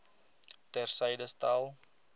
ter syde stel